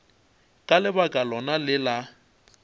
ka lebaka lona le la